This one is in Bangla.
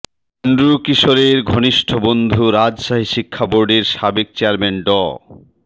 এন্ড্রু কিশোরের ঘনিষ্ঠ বন্ধু রাজশাহী শিক্ষাবোর্ডের সাবেক চেয়ারম্যান ড